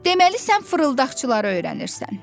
Deməli sən fırıldaqçıları öyrənirsən.